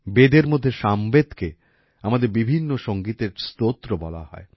বেদের মধ্যে সামবেদকে আমাদের বিভিন্ন সংগীতের স্তোত্র বলা হয়